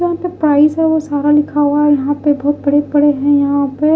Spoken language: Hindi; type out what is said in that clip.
यहाँ पे प्राइस है वो सारा लिखा हुआ है यहाँ पे बहोत बड़े-बड़े हैं यहाँ पे।